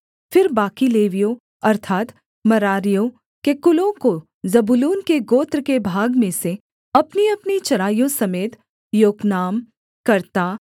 फिर बाकी लेवियों अर्थात् मरारियों के कुलों को जबूलून के गोत्र के भाग में से अपनीअपनी चराइयों समेत योकनाम कर्ता